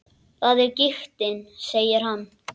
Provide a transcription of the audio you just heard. Það er giktin, segir hann.